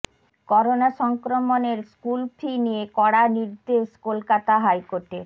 corona সংক্রমণের school fee নিয়ে কড়া নির্দেশ কলকাতা হাইকোর্টের